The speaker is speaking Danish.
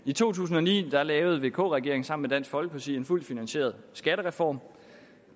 i to tusind og ni lavede vk regeringen sammen med dansk folkeparti en fuldt finansieret skattereform